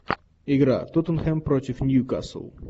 игра тоттенхэм против ньюкасл